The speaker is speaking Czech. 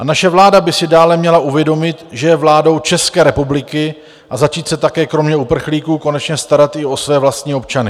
A naše vláda by si dále měla uvědomit, že je vládou České republiky, a začít se také kromě uprchlíků konečně starat i o své vlastní občany.